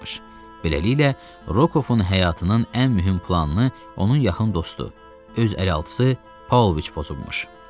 Beləliklə, Rokkofun həyatının ən mühüm planını onun yaxın dostu, öz əlaltısı Paulviç pozubmuş.